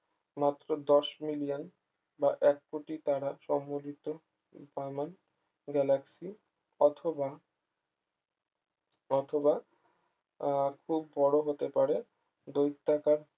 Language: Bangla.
মাত্র দশ মিলিয়ন বা এক কোটি তারা সম্বন্ধিত per month galaxy অথবা অথবা আহ খুব বড় হতে পারে দৈত্যাকার